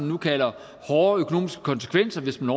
nu kalder hårde økonomiske konsekvenser hvis den